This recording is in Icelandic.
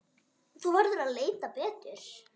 Þú verður að leita betur.